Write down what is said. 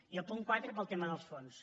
i al punt quatre pel tema dels fons